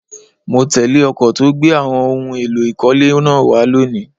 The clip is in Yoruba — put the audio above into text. Mo tẹ́lé ọkọ̀ tó gbé àwọn ohun èlò ìkọ́lé náà wá lónìí